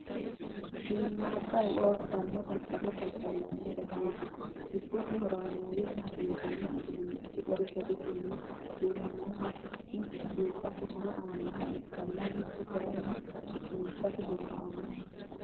Shiimmaadda eo abbanno daddalo daddallanni basenna giiddosi horameeyyete hasiisanno udiinnichi gari garisinni duunaminoha mitu buudhate horo aannoha ikkanna mitu kayinni su'niissate horo aannoho